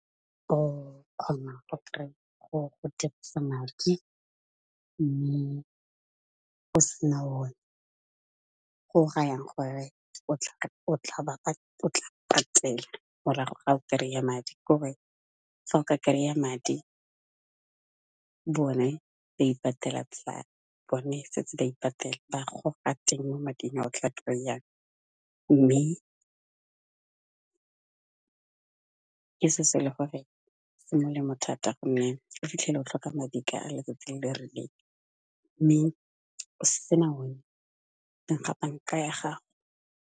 O kgona go dirisa madi mme o sena o ne, go rayang gore o tla patela morago ga o kry-a madi, kore fa o ka kry-a madi bone setse ba ipatele, bagoga teng mo mading a o tla kry-ang, mme ke se se le gore se molemo thata gonne o fitlhele o tlhoka madi ka a letsatsi le rileng mme o sena one teng ga banka ya gago.